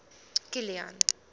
kilian